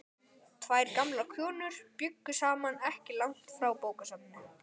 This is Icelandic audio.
Tvær gamlar konur bjuggu saman ekki langt frá bókasafninu.